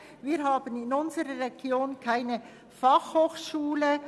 Wir haben in unserer Region keine Fachhochschule.